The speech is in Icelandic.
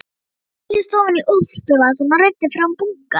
Ég seildist ofan í úlpuvasann og reiddi fram bunkann.